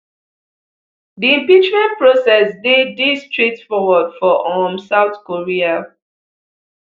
di impeachment process dey dey straightforward for um south korea